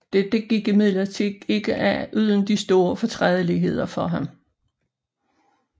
Dette gik imidlertid ikke af uden store fortrædeligheder for ham